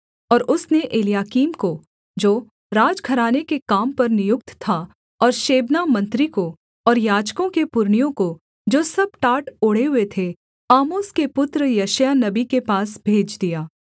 और उसने एलयाकीम को जो राजघराने के काम पर नियुक्त था और शेबना मंत्री को और याजकों के पुरनियों को जो सब टाट ओढ़े हुए थे आमोस के पुत्र यशायाह नबी के पास भेज दिया